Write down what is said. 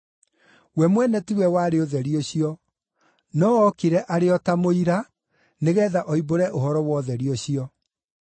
We mwene tiwe warĩ ũtheri ũcio, no okire arĩ o ta mũira tu nĩgeetha oimbũre ũhoro wa ũtheri ũcio.